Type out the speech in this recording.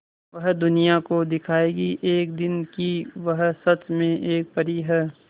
वह दुनिया को दिखाएगी एक दिन कि वह सच में एक परी है